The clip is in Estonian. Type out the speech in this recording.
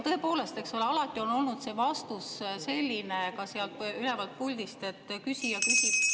Tõepoolest, eks ole, alati on olnud vastus sealt ülevalt puldist selline, et küsija küsib …